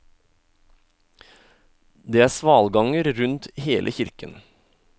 Det er svalganger rundt hele kirken.